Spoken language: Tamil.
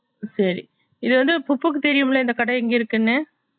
சரி இதுவந்து புத்துக்கு தெரியும்ல இந்த கட எங்க இருக்குதுன்னு